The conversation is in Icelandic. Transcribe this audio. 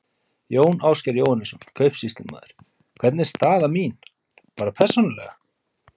Jón Ásgeir Jóhannesson, kaupsýslumaður: Hvernig er staða mín. bara persónulega?